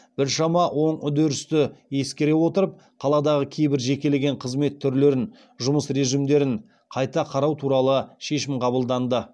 біршама оң үрдісті ескере отырып қаладағы кейбір жекелеген қызмет түрлерінің жұмыс режимдерін қайта қарау туралы шешім қабылданды